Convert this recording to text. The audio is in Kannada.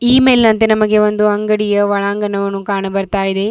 ಈ ಮೆಲ್ನಂತೆ ನಮಗೆ ಒಂದು ಅಂಗಡಿಯ ಒಳಂಗಣವಣು ಕಾಣಬರ್ತಯಿದೆ.